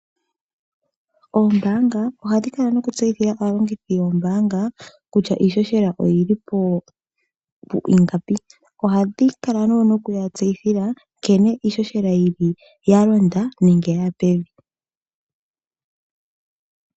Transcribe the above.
Oombaanga ohadhi kala nokutseyithila aalongithi yoombaanga kutya iishoshela oyili pwiingapi, ohadhi kala woo nokuya tseyithila una iishoshela yalonda nenge yaya pevi.